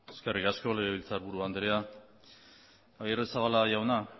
eskerrik asko legebiltzarburu andrea agirrezabala jauna